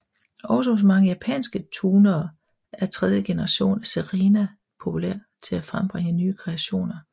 Også hos mange japanske tunere er tredje generation af Serena populær til at frembringe nye kreationer